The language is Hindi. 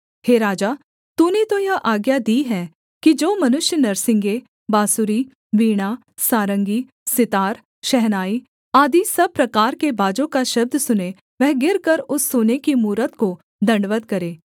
हे राजा तूने तो यह आज्ञा दी है कि जो मनुष्य नरसिंगे बाँसुरी वीणा सारंगी सितार शहनाई आदि सब प्रकार के बाजों का शब्द सुने वह गिरकर उस सोने की मूरत को दण्डवत् करे